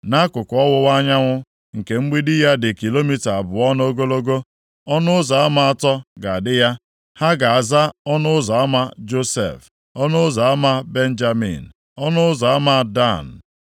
Nʼakụkụ ọwụwa anyanwụ, nke mgbidi ya dị kilomita abụọ nʼogologo, ọnụ ụzọ ama atọ ga-adị ya. Ha ga-aza ọnụ ụzọ ama Josef, ọnụ ụzọ ama Benjamin, na ọnụ ụzọ ama Dan.